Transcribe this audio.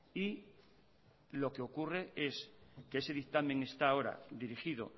y lo que ocurre es que ese dictamen está ahora dirigido